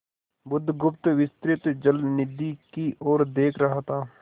बुधगुप्त विस्तृत जलनिधि की ओर देख रहा था